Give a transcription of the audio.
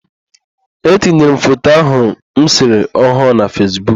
Etinyere m foto ahụ m sere ọhụụ na Fesbuk.